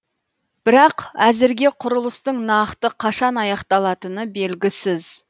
бірақ әзірге құрылыстың нақты қашан аяқталатыны белгісіз